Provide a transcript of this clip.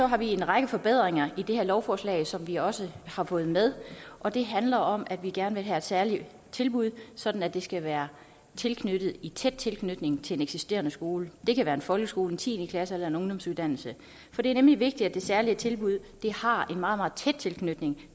har vi en række forbedringer i det her lovforslag som vi også har fået med og det handler om at vi gerne vil have særlige tilbud sådan at det skal være i tæt tilknytning til en eksisterende skole det kan være en folkeskole en tiende klasse eller en ungdomsuddannelse for det er nemlig vigtigt at det særlige tilbud har en meget meget tæt tilknytning